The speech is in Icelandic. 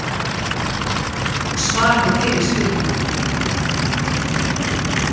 Svar við fyrri spurningu: